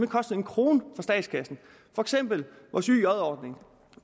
kostede en krone for statskassen for eksempel